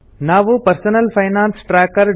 ನಾವು personal finance tracker